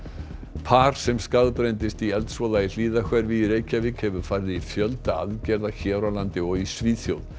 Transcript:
par sem skaðbrenndist í eldsvoða í Hlíðahverfi í Reykjavík hefur farið í fjölda aðgerða hér á landi og í Svíþjóð